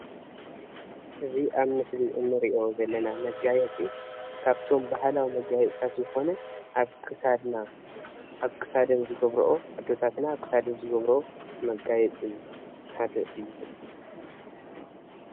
እዚ ኣብ ምስሊ ንርኦ ዘለና መጋየፂ ካብቶም ባህላዊ መጋየፅታት ዝኾነ ኣብ ክሳደን ዝገብርኦ ኣዴታትና ሓደ መጋየፂእዩ።